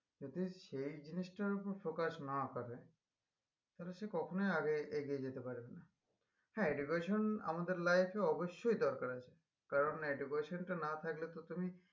যদি সেই জিনিসটার ওপর focus না করে তালে সে কখনোই আগে এগিয়ে যেতে পারেনা হ্যাঁ education আমাদের life এ অবশ্যই দরকার আছে কারণ education টা না থাকলে তো তুমি